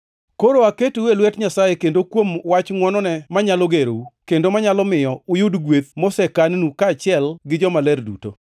“Koro aketou e lwet Nyasaye, kendo kuom wach ngʼwonone, manyalo gerou, kendo manyalo miyo uyud gweth mosekan-nu kaachiel gi jomaler duto.